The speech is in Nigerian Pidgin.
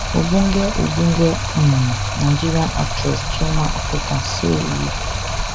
ogbonge ogbonge um nigerian actress chioma akpotha say wit